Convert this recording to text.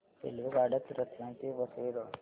रेल्वेगाड्या रतलाम ते वसई रोड